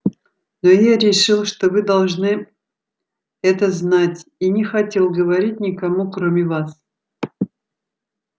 но я решил что вы должны это знать и не хотел говорить никому кроме вас